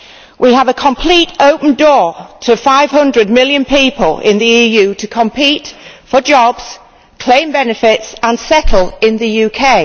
We have a complete open door to 500 million people in the EU to compete for jobs, claim benefits and settle in the UK.